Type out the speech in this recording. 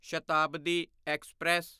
Shatabdi express